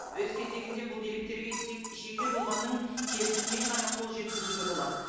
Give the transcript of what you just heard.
өз кезегінде бұл деректерге тек жеке тұлғаның келісімімен ғана қол жеткізуге болады